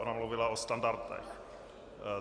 Ona mluvila o standartách.